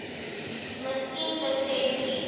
miskien besef u